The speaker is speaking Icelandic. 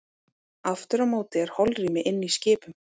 Aftur á móti er holrými inni í skipum.